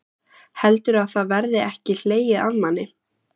Heldurðu að það verði ekki hlegið að manni?